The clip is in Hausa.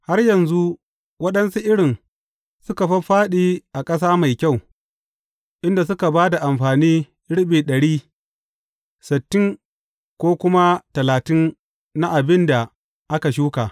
Har yanzu, waɗansu irin suka fāffāɗi a ƙasa mai kyau, inda suka ba da amfani riɓi ɗari, sittin ko kuma talatin na abin da aka shuka.